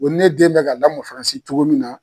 Ko ne den bɛ ka lamɔn Faransi cogo min na.